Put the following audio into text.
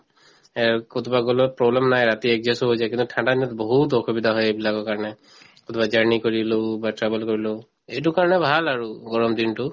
কৰবাত গলেও problem নাই ৰাতি adjust ও হৈ যায় কিন্তু ঠাণ্ডা দিনত বহুত অসুবিধা হয় এইবিলাকৰ কাৰণে কৰবাত journey কৰিলো বা travel কৰিলো এইটো কাৰণে ভাল আৰু গৰম দিনতো